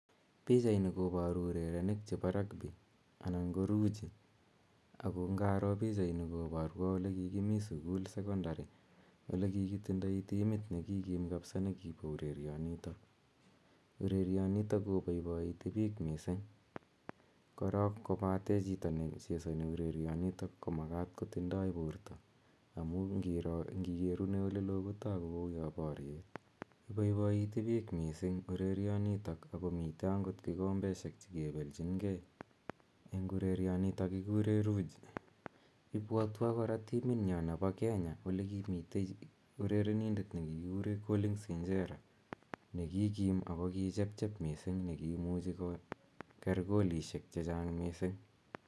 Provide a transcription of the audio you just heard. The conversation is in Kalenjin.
Pichaini koparu urerenik chepo rugby anan ko ruji , ako ngaro pichaini kopwatwa ole ki kimi ,sukul, sokondari ole kikitindai timit ne kikim kapsa ne kipa urerianitok. Urerionitok kopaipaiiti piik missing', korok kopate chito nechesani urerianitok ko makat kondoi porto amu ngikerune ole loo kotagu kou ya poriet. Ipaipaiti piich missing' urerianitok ako mitei kikombeshejk che kipelchin gei eng' urerionitok kikure ruji. Ipwatwa kora timitnyo nepo, Kenya, ole kimitei urerenindet ne kikikure Collins Injera, ne kikim ako kichepchep missing', ako kiimuchi koker golisiek che chang' missing'.